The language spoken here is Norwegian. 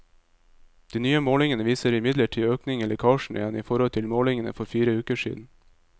De nye målingene viser imidlertid økning i lekkasjene igjen, i forhold til målingene for fire uker siden.